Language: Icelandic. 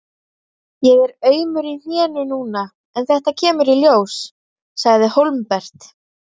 Ég er aumur í hnénu núna en þetta kemur í ljós, sagði Hólmbert.